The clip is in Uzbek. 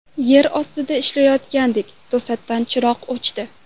Yer ostida ishlayotgandik, to‘satdan chiroq o‘chdi.